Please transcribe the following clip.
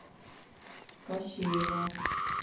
кощеева